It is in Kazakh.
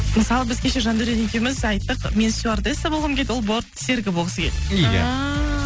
мысалы біз кеше жандаурен екеуіміз айттық мен стюардесса болғым келеді ол борт серігі болғысы келеді иә ааа